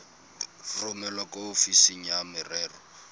romele kwa ofising ya merero